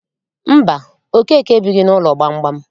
Mba, Okeke ebighị n'ụlọ gbamgbam.